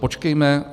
Počkejme.